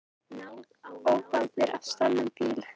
Ölvaður á stolnum bíl